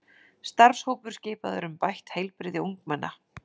Starfshópur skipaður um bætt heilbrigði ungmenna